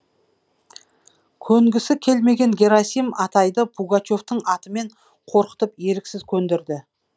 көнгісі келмеген герасим атайды пугачевтің атымен қорқытып еріксіз көндірді